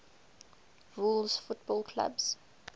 rules football clubs